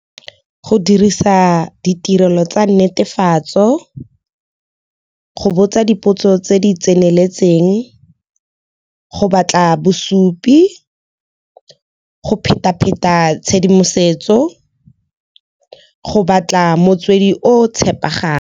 Go dirisa ditirelo tsa netefatso, go botsa dipotso tse di tseneletseng, go batla bosupi go pheta-pheta tshedimosetso, go batla motswedi o tshepegang.